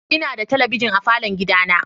Ina da talabijin a falon gidana.